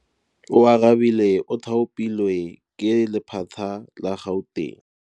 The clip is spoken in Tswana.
Oarabile o thapilwe ke lephata la Gauteng.